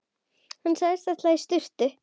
Hann sagðist ætla í sturtu.